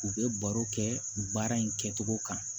U bɛ baro kɛ u baara in kɛcogo kan